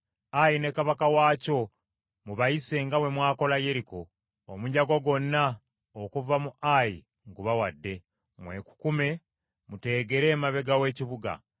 Ayi ne kabaka waakyo mu bayise nga bwe mwakola Yeriko, omunyago gwonna okuva mu Ayi ngubawadde. Mwekukume muteegere emabega w’ekibuga.”